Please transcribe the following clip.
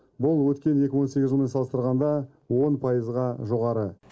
бұл өткен екі мың он сегіз жылмен салыстырғанда он пайызға жоғары